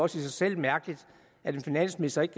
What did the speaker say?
sig selv mærkeligt at en finansminister ikke